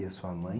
E a sua mãe?